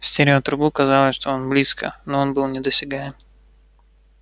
в стереотрубу казалось что он близко но он был недосягаем